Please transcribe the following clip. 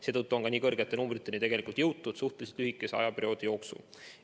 Seetõttu on ka nii suurte numbriteni jõutud suhteliselt lühikese aja jooksul.